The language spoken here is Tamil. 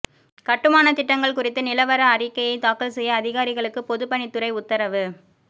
கட்டுமானத் திட்டங்கள் குறித்து நிலவர அறிக்கையை தாக்கல்செய்ய அதிகாரிகளுக்கு பொதுப்பணி துறை உத்தரவு